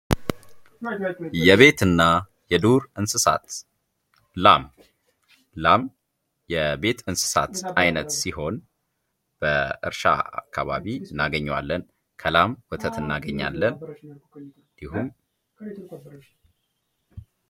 የቤት እና የዱር እንስሳት ላም:- ላም የቤት እንስሳት አንዱ ሲሆን በእርሻ አካባቢ እናገኘዋለን። ከላም ወተት እናገኛለን።